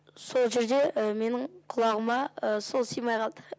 сол жерде менің құлағыма сол сыймай қалды